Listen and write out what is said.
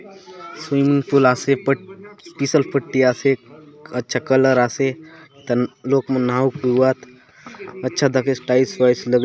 Swimming pool आसे प पिसल पट्टि आसे अच्छा कलर आसे लोग मन नहाऊक एवात अच्छा दखेसे टाइल्स वाइल्स लगलीसे।